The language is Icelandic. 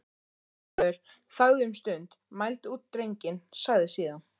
Lögmaður þagði um stund, mældi út drenginn, sagði síðan: